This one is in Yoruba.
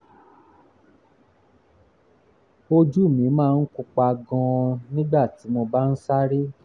ojú mi máa ń pupa gan-an nígbà tí mo bá ń sáré